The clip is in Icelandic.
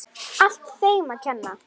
Allt þeim að kenna.!